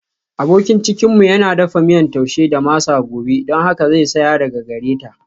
Abokin cinikinmu yana dafa miyan Taushe da masa gobe don haka zai saya daga gare ta.